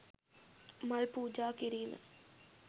මල් පූජා කිරීම